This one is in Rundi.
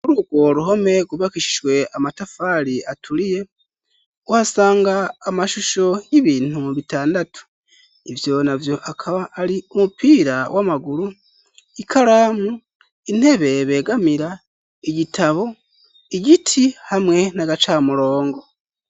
Kuri ugwo ruhome gubakishizwe amatafari aturiye wasanga amashusho y'ibintu mu bitandatu ivyo navyo akaba ari umupira w'amaguru ikaramu intebe begamira igitabo igiti hamwe n'agacamurongo